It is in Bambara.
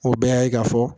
O bɛɛ y'a ye k'a fɔ